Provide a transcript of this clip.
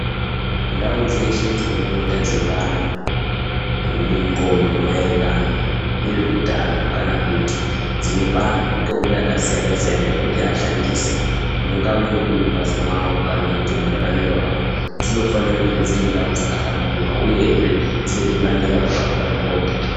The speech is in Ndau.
Ndau dzeshe dzinopota dzeipa antu ndxondo maererano nezveutano, kana kuti, dzinopa antu mitombo yakasiyana-siyana yekuti ashandise, mungave muri mumphatso mwavo. kana mararamire avo, dzinofanire kudai dziri ndau dzakahlamburuka, uyezve dzine zvibandela zvakakura zvinooneka...